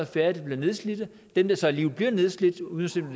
færre der bliver nedslidte dem der så alligevel bliver nedslidte uanset om